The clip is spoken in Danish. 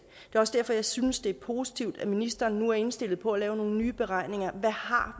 er også derfor jeg synes det er positivt at ministeren nu er indstillet på at lave nogle nye beregninger hvad har